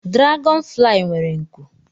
Diragọn fulayi nwere nku